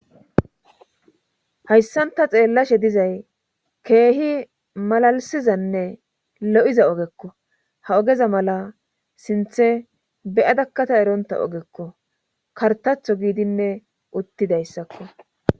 hayssanta xeellashe dizay keehi malalisizanne lo7iza ogekko ha ogeza mala sinthe beyadakkata eronta ogekko kartatho giidinne uttidayssakko